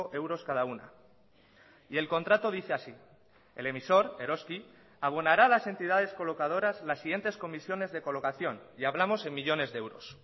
euros cada una y el contrato dice así el emisor eroski abonará a las entidades colocadoras las siguientes comisiones de colocación y hablamos en millónes de euros